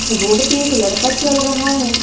Road पे एक लड़का चल रहा है।